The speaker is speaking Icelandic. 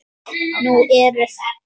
Nú eru